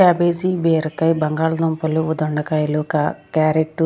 Cabbage బీరకాయ బంగాళ దుంపలు దొండకాయలు క-- క్యారెట్ .